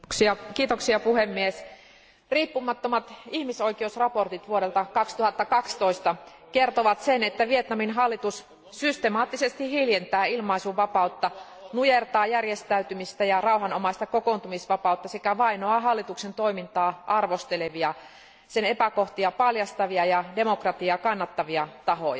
Arvoisa puhemies, riippumattomat ihmisoikeusraportit vuodelta 2012 kertovat sen, että Vietnamin hallitus systemaattisesti hiljentää ilmaisunvapautta, nujertaa järjestäytymistä ja rauhanomaista kokoontumisvapautta sekä vainoaa hallituksen toimintaa arvostelevia, sen epäkohtia paljastavia ja demokratiaa kannattavia tahoja.